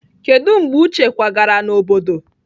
Kedu mgbe uche kwagara n'obodo?